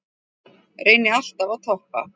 Reyni alltaf að toppa